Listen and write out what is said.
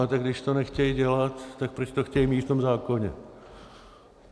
A tak když to nechtějí dělat, tak proč to chtějí mít v tom zákoně?